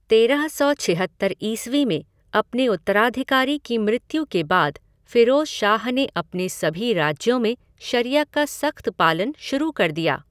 तेरह सौ छिहत्तर ईस्वी में अपने उत्तराधिकारी की मृत्यु के बाद फ़िरोज़ शाह ने अपने सभी राज्यों में शरिया का सख़्त पालन शुरू कर दिया।